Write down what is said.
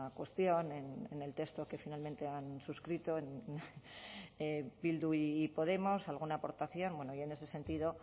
cuestión en el texto que finalmente han suscrito bildu y podemos alguna aportación bueno yo en ese sentido